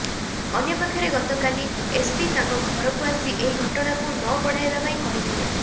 ଅନ୍ୟପକ୍ଷରେ ଗତକାଲି ଏସ୍ପି ତାଙ୍କ ଘରକୁ ଆସି ଏହି ଘଟଣାକୁ ନ ବଢ଼ାଇବା ପାଇଁ କହିଥିଲେ